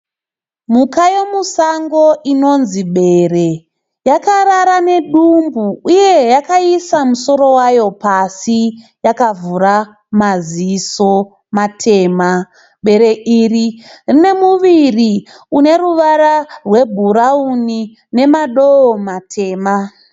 Mhuka yemusango inonzi bere. Yakarara nedymbu uye yakaisa musoro wayo pasi yakavhura maziso matema. Bere iri rine muviri uneruvara rwebhurauni unemadowo matema.